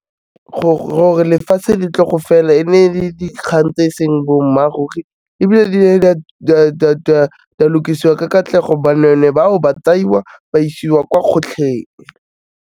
Gore lefatshe le tlo go fela, e ne le dikgang tse e seng boammaaruri, ebile di ne dia lokisiwa ka katlego, banweenwee bao, ba tsaiwa ba isiwa kwa kgotlheng.